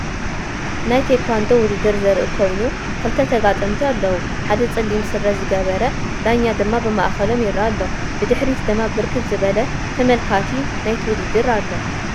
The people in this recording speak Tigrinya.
ናይ ቴኳንዶ ውድድር ዘርኢ ኮይኑ ክልተ ተጋጠመቲ አለዉ ሓደ ፀሊም ስረ ዝገበረ ዳኛ ድማ ብማእከሎም ይረአ አሎ፡፡ ብድሕሪት ድማ ብርከት ዝበለ ተመልካቲ ናይቲ ውድድር አሎ፡፡